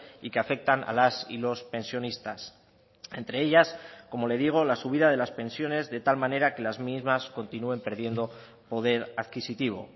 y que afectan a las y los pensionistas entre ellas como le digo la subida de las pensiones de tal manera que las mismas continúen perdiendo poder adquisitivo